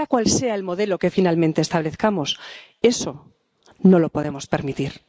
Sea cual sea el modelo que finalmente establezcamos, eso no lo podemos permitir.